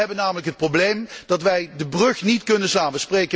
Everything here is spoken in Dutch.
Wij hebben namelijk het probleem dat wij de brug niet kunnen slaan.